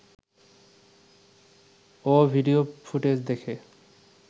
ও video footage দেখে